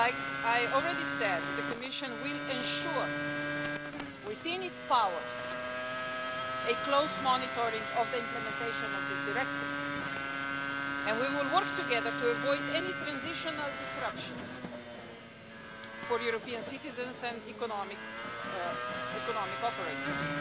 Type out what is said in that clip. As I already said, the Commission will ensure, within its powers, a close monitoring of the implementation of this Directive and we will work together to avoid any transitional disruptions for European citizens and economic operators.